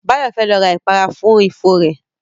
Báyọ̀ fẹ́ lọ ra ìpara fún ifo rẹ